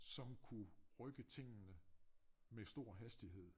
Som kunne rykke tingene med stor hastighed